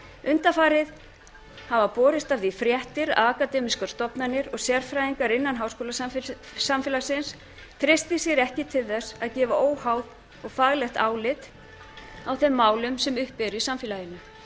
undanfarið hafa borist af því fréttir að akademískar stofnanir og sérfræðingar innan háskólasamfélagsins treysti sér ekki til þess að gefa óháð og faglegt álit á þeim málum sem uppi eru í samfélaginu